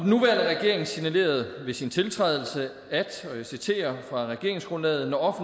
nuværende regering signalerede ved sin tiltrædelse at og jeg citerer fra regeringsgrundlaget når